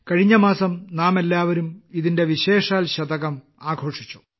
കഴിഞ്ഞമാസം നാമെല്ലാവരും ഇതിന്റെ വിശേഷാൽ ശതകം ആഘോഷിച്ചു